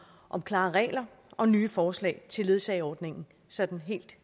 om klare regler og nye forslag til ledsageordningen sådan